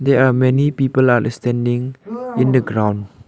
they are many people are standing in the ground.